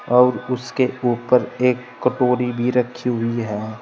और उसके ऊपर एक कटोरी भी रखी हुई है।